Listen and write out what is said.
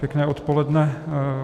Pěkné odpoledne.